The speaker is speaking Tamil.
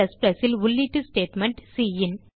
Cல் உள்ளீட்டு ஸ்டேட்மெண்ட் சின்